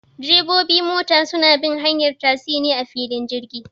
Direbobi mota suna bin hanyar tasi ne a filin jirgi